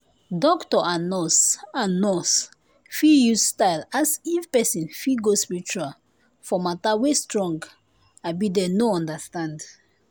doctor and nurse and nurse fit use style ask if person fit go spiritual for mater wey strong abi den no understand